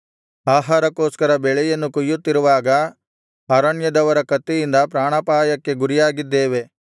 ಆಹಾರಕ್ಕೋಸ್ಕರ ಬೆಳೆಯನ್ನು ಕೊಯ್ಯುತ್ತಿರುವಾಗ ಅರಣ್ಯದವರ ಕತ್ತಿಯಿಂದ ಪ್ರಾಣಾಪಾಯಕ್ಕೆ ಗುರಿಯಾಗಿದ್ದೇವೆ